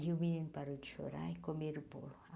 E o menino parou de chorar e comeram o bolo.